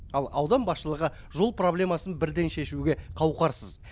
ал аудан басшылығы жол проблемасын бірден шешуге қауқарсыз